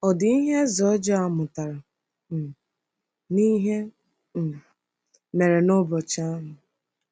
Ọ̀ dị ihe eze ọjọọ a mụtara um n’ihe um mere n’ụbọchị ahụ?